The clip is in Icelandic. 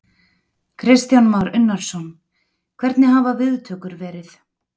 Kristján Már Unnarsson: Hvernig hafa viðtökur verið?